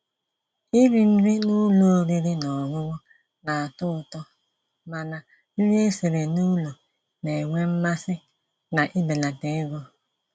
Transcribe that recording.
Írì nrí n'ụ́lọ̀ ọ̀rị́rị́ ná ọ̀ṅụ̀ṅụ̀ ná-àtọ́ ụ̀tọ́, mànà nrí èsirí n'ụ́lọ̀ ná-ènwé mmàsí ná íbèlàtà égó.